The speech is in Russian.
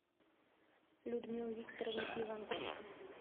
людмилы викторовны иванченко